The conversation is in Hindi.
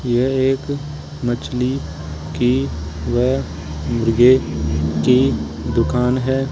यह एक मछली की व मुर्गे की दुकान है।